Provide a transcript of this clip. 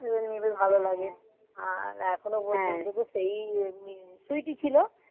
নিজের ভালো লাগে আর এখনো পর্যন্ত তো সেই আছে সুইটি ছিল,